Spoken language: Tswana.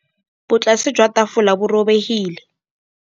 Botlasê jwa tafole bo robegile.